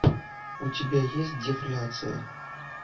у тебя есть дефляция